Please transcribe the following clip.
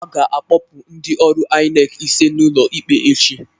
A ga-akpọpụ ndị ọrụ INEC ise n'ụlọ ikpe echi